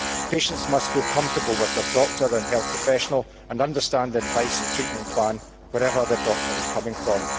Patients must feel comfortable with their doctor and health professional and understand the advice and treatment plan, wherever their doctor comes from.